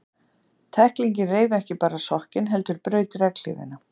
Tæklingin reif ekki bara sokkinn, heldur braut legghlífina.